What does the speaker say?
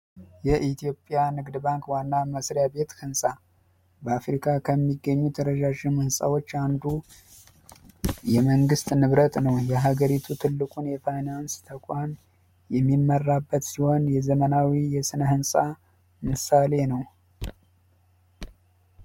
የኢትዮጵያ ንግድ ባንክ ዋና መስሪያ ቤት ህንፃ በአፍሪካ ከሚገኙት ረጃጅም ህንፃዎች አንዱ የመንግስት ንብረት ነው የሀገሪቱ የፋይናንስ ተቋም የሚመራበት ሲሆን የዘመናዊ የስነ ህንፃ ምሳሌ ነው።